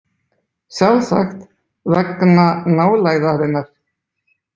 Sjálfsagt vegna nálægðarinnar.